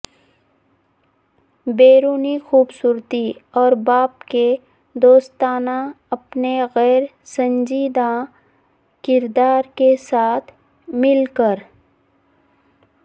بیرونی خوبصورتی اور باپ کے دوستانہ اپنے غیر سنجیدہ کردار کے ساتھ مل کر